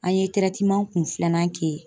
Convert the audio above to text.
An ye kun filanan kɛ